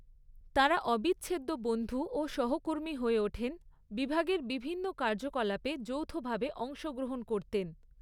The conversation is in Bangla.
তাঁরা অবিচ্ছেদ্য বন্ধু ও সহকর্মী হয়ে ওঠেন, বিভাগের বিভিন্ন কার্যকলাপে যৌথভাবে অংশগ্রহণ করতেন।